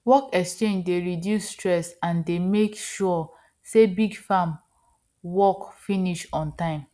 work exchange dey reduce stress and dey make sure say big farm work finish on time